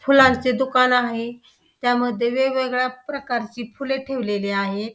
फुलांचे दुकान आहे त्या मध्ये वेगवेगळ्या प्रकारची फुले ठेवलेली आहेत.